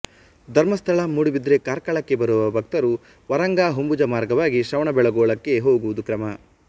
ಧರ್ಮಸ್ಥಳ ಮೂಡುಬಿದರೆ ಕಾರ್ಕಳಕ್ಕೆ ಬರುವ ಭಕ್ತರು ವರಂಗ ಹೊಂಬುಜ ಮಾರ್ಗವಾಗಿ ಶ್ರವಣಬೆಳಗೊಳಕ್ಕೆ ಹೋಗುವುದು ಕ್ರಮ